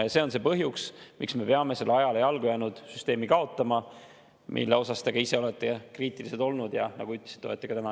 Ja see on põhjus, miks me peame kaotama selle ajale jalgu jäänud süsteemi, mille suhtes te ka ise olete kriitilised olnud, ja nagu ütlesite, olete ka täna.